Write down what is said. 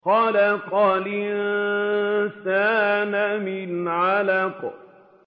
خَلَقَ الْإِنسَانَ مِنْ عَلَقٍ